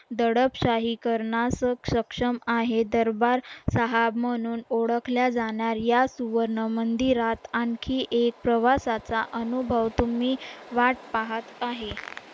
दडपशाहीकरणासक सक्षम आहे दरबार साहाब म्हणून ओळखल्या जाणाऱ्या सुवर्णमंदिरात आणखी एक प्रवासाचा अनुभव तुम्ही वाट पाहत आहे